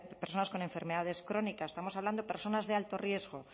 personas con enfermedades crónicas estamos hablando de personas de alto riesgo